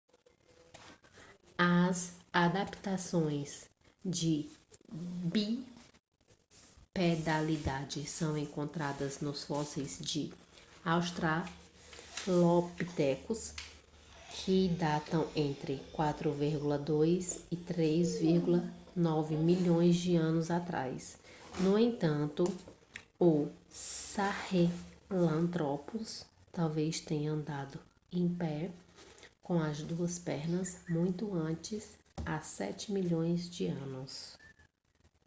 as adaptações de bipedalidade são encontradas nos fósseis de australopithecus que datam entre 4,2 e 3,9 milhões de anos atrás no entanto o sahelanthropus talvez tenha andado em pé com as duas pernas muito antes há sete milhões de anos